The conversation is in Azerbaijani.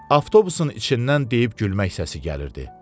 Avtobusun içindən deyib gülmək səsi gəlirdi.